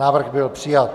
Návrh byl přijat.